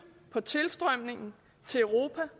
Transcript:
på tilstrømningen til europa